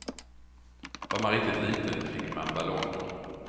Var man riktigt liten fick man ballonger.